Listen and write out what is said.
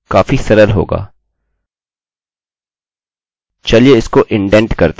तो यह पाँच हैं और चलिए इसको थोडा बदल देते हैं यह एक सुस्त काम है